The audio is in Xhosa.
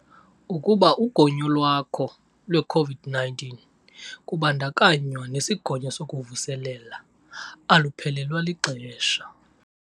Ukuba ugonyo lwakho lwe-COVID-19, kubandakanywa nesigonyo sokuvuselela, aluphelelwa lixesha.